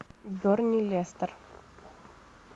бернли лестер